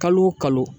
Kalo o kalo